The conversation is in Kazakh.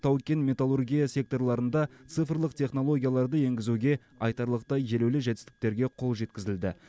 тау кен металлургия секторларында цифрлық технологияларды енгізуге айтарлықтай елеулі жетістіктерге қол жеткізілді